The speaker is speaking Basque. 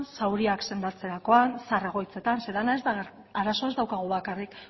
zauriak sendatzerakoan zahar egoitzetan zeren lana arazoa ez daukagu bakarrik